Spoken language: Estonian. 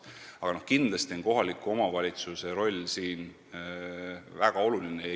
Aga kindlasti on kohaliku omavalitsuse roll siin väga oluline.